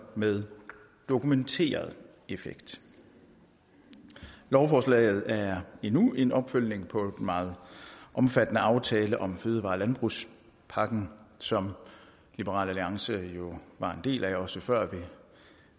med dokumenteret effekt lovforslaget er endnu en opfølgning på en meget omfattende aftale om fødevare og landbrugspakken som liberal alliance jo var en del af også før vi